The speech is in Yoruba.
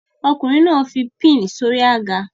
Ọkùnrin náà fi pin sí orí àga